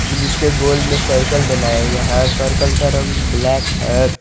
जिसके गोल में सर्कल बनाया हुआ है सर्किल का रंग ब्लैक है।